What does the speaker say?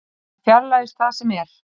Hann fjarlægist það sem er.